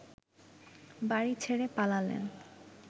বাড়ি ছেড়ে পালালেন